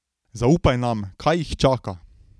Zaupaj nam, kaj jih čaka?